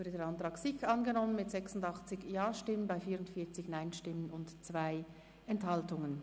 Der Antrag SiK ist angenommen worden mit 86 Ja- gegen 44 Nein-Stimmen bei 2 Enthaltungen.